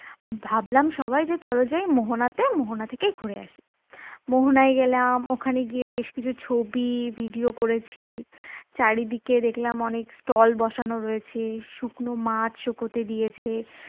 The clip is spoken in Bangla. ভাবলাম সবাই চলো যাই মোহনাতে মোহনা থেকেই ঘুরে আসি মোহনায় গেলাম ওখানে গিয়ে বেশ কিছু ছবি video করেছি, চারিদিকে দেখলাম অনেক stall বসানো রয়েছে শুকনো মাছ শুকোতে দিয়েছে